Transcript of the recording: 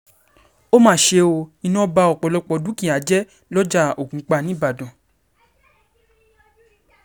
ó mà ṣe ó iná ba ọ̀pọ̀lọpọ̀ dúkìá jẹ́ lọ́jà ògúnpá ńíbàdàn